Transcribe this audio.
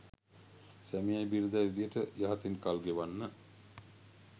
සැමියයි බිරිඳයි විදියට යහතින් කල් ගෙවන්න